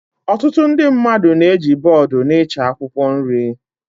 Ọtụtụ ndị mmadụ na-eji bọọdụ n'ịcha akwụkwọ nri